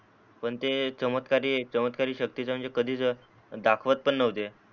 पण ते चमत्कारी चमत्कारी शक्ति तर म्हणजे कधीच दाखवत पण नव्हते